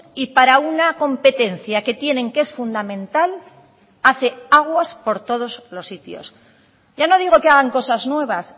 y para una competencia que tienen que es fundamental hace aguas por todos los sitios ya no digo que hagan cosas nuevas